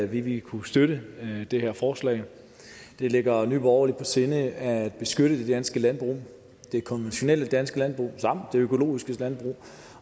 vi vil kunne støtte det her forslag det ligger nye borgerlige sinde at beskytte det danske landbrug det konventionelle danske landbrug samt det økologiske landbrug